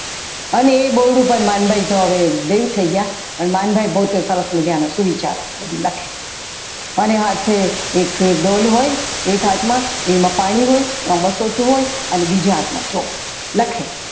અને એ બહુ રૂપ તો માનભાઈ હવે દેવ થઈ ગયા પણ માનભાઈ પોતે બહુ સરસ મજાના સુવિચારો બધું લખે અને સાથે એક ડોલ હોય એક હાથમાં પાણી હોય હોતું હોય અને બીજા હાથમાં ચોક હોય લખે.